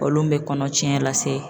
Olu mɛ kɔnɔcɛn lase.